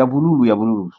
ya bululu ya bululu